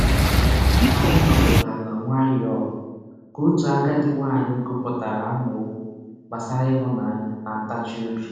Anyị nọdụrụ ala nwayọọ ka otu agadi nwaanyị gụpụtara amaokwu gbasara ịhụnanya na ntachi obi.